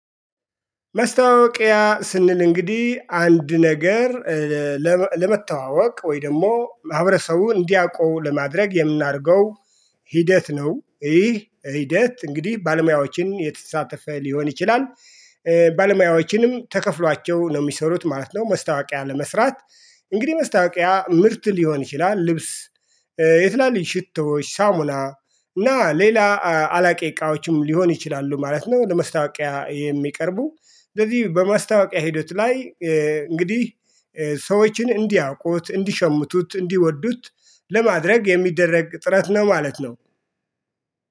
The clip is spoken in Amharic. ማስታወቂያ ስንል እንግዲህ አንድ ነገር ለመተዋወቅ ወይ ደግሞ ማህበረሰቡ እንዲያውቁ ለማድረግ የምናደርገው ሂደት ነው። ይህ ሂደት እንግዲህ ባለሙያዎችን የተሳተፈ ሊሆን ይችላል። ባለሙያዎችንም ተከፍሏቸው ነው የሚሰሩት ማለት ነው። ማስታወቂያ ለመስራት። እንግዲህ ማስታወቂያ ምርት ሊሆን ይችላል ልብስ የትላልኝ ሽቶዎች ሳሙላ እና ሌላ አላቂ እቃዎችም ሊሆን ይችላሉ ማለት ነው። ለማስታወቂያ የሚቀርቡ ስለዚህ በማስታወቂያ ሂደት ላይ እንግዲህ ሰዎችን እንዲያውቁት እንዲሸምቱት እንዲወዱት ለማድረግ የሚደረግ ጥረት ነው። ማለት ነው